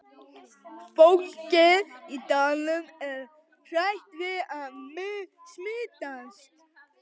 Fólkið í dalnum er hrætt við að smitast.